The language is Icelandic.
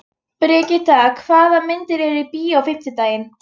Brigitta, hvaða myndir eru í bíó á fimmtudaginn?